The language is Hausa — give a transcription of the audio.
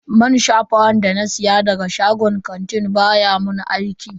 Man shafawan da na siya daga shagon kantin baya mun aiki.